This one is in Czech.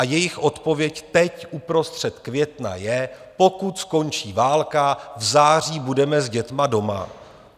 A jejich odpověď teď uprostřed května je: Pokud skončí válka, v září budeme s dětmi doma.